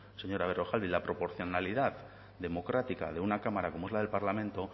señora berrojalbiz la proporcionalidad democrática de una cámara como es la del parlamento